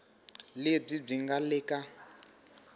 lebyi byi nga le ka